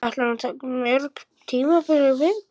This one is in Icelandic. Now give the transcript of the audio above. Ætlar hún að taka mörg tímabil í viðbót?